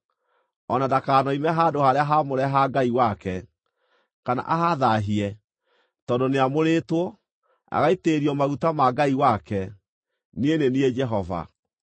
o na ndakanoime handũ-harĩa-haamũre ha Ngai wake, kana ahathaahie, tondũ nĩamũrĩtwo, agaitĩrĩrio maguta ma Ngai wake. Niĩ nĩ niĩ Jehova.